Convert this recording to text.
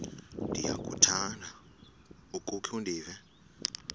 ndiyakuthanda ukukhe ndive